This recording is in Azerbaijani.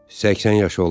80 yaşı olar.